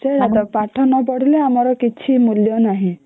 ସେଇଆ ଟା ପାଠ ନ ପଢିଲେ ଆମର କିଛି ମୂଲ୍ୟ ନାହିଁ